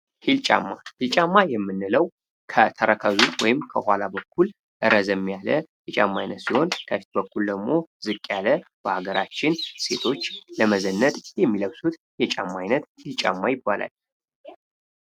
ሂል ጫማ ሂል ጫማ የምንለው ከተረከዙ ወይም ከኋላ በኩል ረዘም ያለ የጫማ አይነት ሲሆን፤ ከፊት በኩል ደሞ ዝቅ ያለ በሀገራችን ሴቶች ለመዘነጥ የሚለብሱት የጫማ ዓይነት ሂል ጫማ ይባላል ።